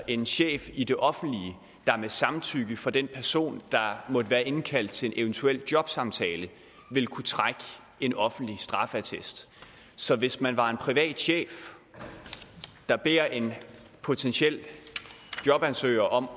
en chef i det offentlige der med samtykke fra den person der måtte være indkaldt til en eventuel jobsamtale vil kunne trække en offentlig straffeattest så hvis man er en privat chef der beder en potentiel jobansøger om